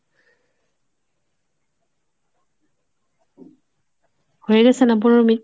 হয়ে গেসে না , পনেরো minute?